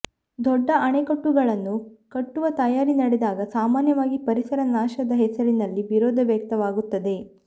ದೊಡ್ಡ ಅಣೆಕಟ್ಟುಗಳನ್ನು ಕಟ್ಟುವ ತಯಾರಿ ನಡೆದಾಗ ಸಾಮಾನ್ಯವಾಗಿ ಪರಿಸರ ನಾಶದ ಹೆಸರಿನಲ್ಲಿ ವಿರೋಧ ವ್ಯಕ್ತವಾಗುತ್ತದೆ